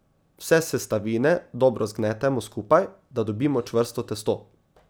Vse sestavine dobro zgnetemo skupaj, da dobimo čvrsto testo.